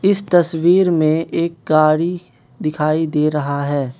इस तस्वीर में एक गाड़ी दिखाई दे रहा है।